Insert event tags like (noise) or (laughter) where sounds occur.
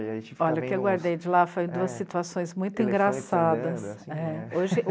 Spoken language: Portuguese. Olha, o que eu guardei de lá foram duas situações muito engraçadas. (unintelligible)